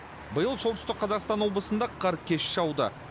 биыл солтүстік қазақстан облысында қар кеш жауды